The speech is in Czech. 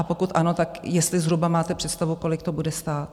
A pokud ano, tak jestli zhruba máte představu, kolik to bude stát?